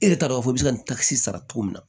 E t'a dɔn k'a fɔ i bɛ se ka kisi sara cogo min na